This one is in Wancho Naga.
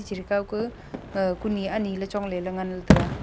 chere kaw ku uh kuni aniley chongleley ngan taiga.